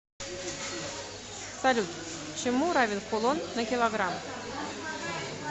салют чему равен кулон на килограмм